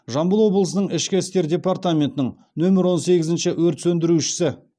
жамбыл облысының ішкі істер департаментінің нөмір он сегізінші өрт сөндірушісі